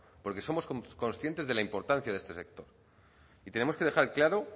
porque somos conscientes de la importancia de este sector y tenemos que dejar claro